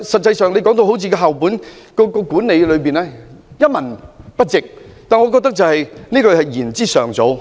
他今天把校本管理說得一文不值，我認為言之尚早。